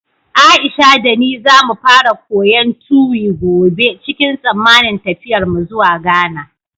Aisha da ni za mu fara koyon Tuwi gobe cikin tsammanin tafiyarmu zuwa Ghana.